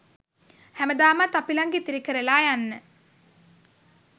හැමදාමත් අපිලඟ ඉතිරි කරලා යන්න